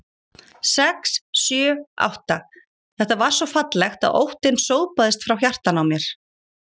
sex. sjö. átta. þetta var svo fallegt að óttinn sópaðist frá hjartanu á mér.